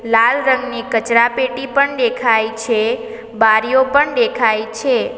લાલ રંગની કચરાપેટી પણ દેખાય છે બારીઓ પણ દેખાય છે.